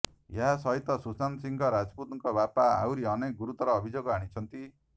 ଏହା ସହିତ ସୁଶାନ୍ତ ସିଂହ ରାଜପୁତଙ୍କ ବାପା ଆହୁରି ଅନେକ ଗୁରୁତର ଅଭିଯୋଗ ଆଣିଛନ୍ତି